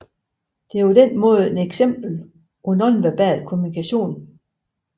Det er således et eksempel på nonverbal kommunikation